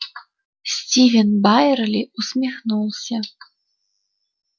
стивен байерли усмехнулся